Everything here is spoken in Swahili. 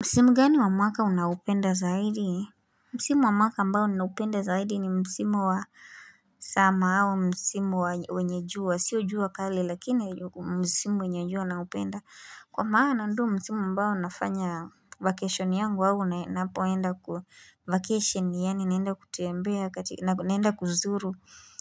Msimu gani wa mwaka unaopenda zaidi? Msimu wa mwaka ambao ninaupenda zaidi ni Msimu wa summer au, Msimu wenye jua, sio jua kali lakini Msimu wenye jua naupenda Kwa maana ndio msimu ambao nafanya vacation yangu au ninapoenda kwa vacation yaani naenda kutembea naenda kuzuru